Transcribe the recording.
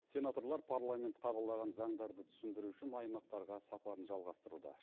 сенаторлар парламент қабылдаған заңдарды түсіндіру үшін аймақтарға сапарын жалғастыруда